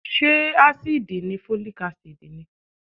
Ṣé ásíìdì ni Folic Acid ni?